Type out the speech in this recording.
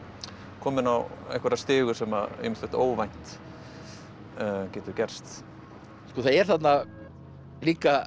kominn á einhverja stigu þar sem ýmislegt óvænt getur gerst það er þarna líka